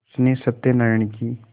उसने सत्यनाराण की